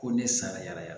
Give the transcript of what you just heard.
Ko ne sara yaraya